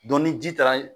ni ji taara